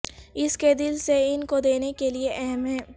اس کے دل سے ان کو دینے کے لئے اہم ہے